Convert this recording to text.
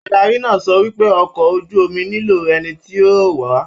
Adarí náà sọ wípé ọkọ ojú omi nilo ẹni tí yóò wáá.